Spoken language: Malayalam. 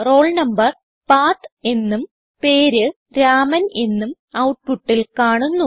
roll number പത്ത് എന്നും പേര് രാമൻ എന്നും ഔട്ട്പുട്ടിൽ കാണുന്നു